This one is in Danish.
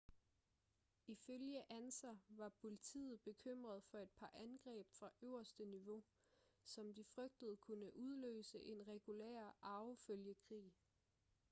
ifølge ansa var politiet bekymret for et par angreb fra øverste niveau som de frygtede kunne udløse en regulær arvefølgekrig